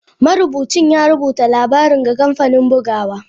Marubucin ya rubuta labarin ga kamfanin bugawa.